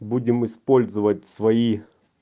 будем использовать свои